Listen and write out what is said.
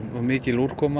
var mikil úrkoma